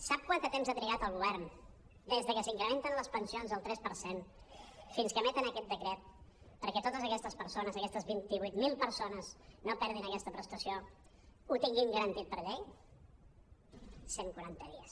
sap quant de temps ha trigat el govern des que s’incrementen les pensions el tres per cent fins que emeten aquest decret perquè totes aquestes persones aquest vint vuit mil per·sones no perdin aquesta prestació ho tinguin garantit per llei cent quaranta dies